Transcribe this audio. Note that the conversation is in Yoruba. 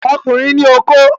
Ọkùnrin ní okó